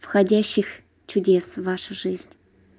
входящих чудес в вашу жизнь